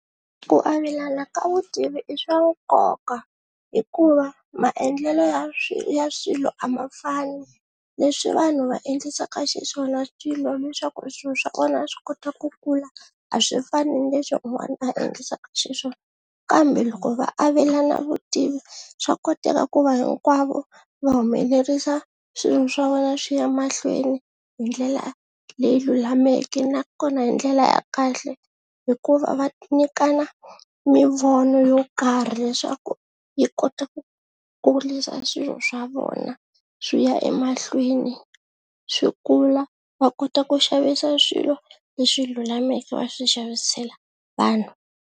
Ku avelana ka vutivi i swa nkoka hikuva maendlelo ya ya swilo a ma fani, leswi vanhu va endlisaka xiswona swilo ni swa ku swilo swa kona swi kota ku kula a swi fani ni leswi un'wana a endlisaka xiswona, kambe loko va avelana vutivi swa koteka ku va hinkwavo va humelerisa swilo swa vona swi ya mahlweni hi ndlela leyi lulameke nakona hi ndlela ya kahle hikuva va nyikana mivono yo karhi leswaku yi kota ku kulisa swilo swa vona swi ya emahlweni swi kula va kota ku xavisa swilo leswi lulameke va swi xavisela vanhu.